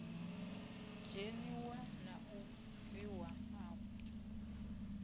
dzheniwa na u bviwa afho